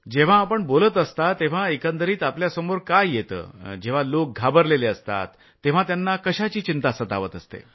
जेव्हा आपण बोलत असता तेव्हा एकंदरीत आपल्यासमोर काय येतं जेव्हा घाबरलेले लोक असतात तेव्हा त्यांना कशाची चिंता सतावत असते